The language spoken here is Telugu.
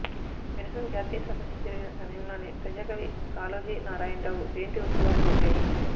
విరసం జాతీయ సదస్సు జరిగిన సమయంలోనే ప్రజాకవి కాళోజీ నారాయణరావు జయంతి ఉత్సవాలు జరిగాయి